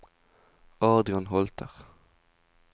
Adrian Holter